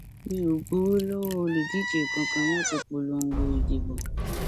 mi ò gbowó lọwọ olùdíje kankan láti polongo ìbò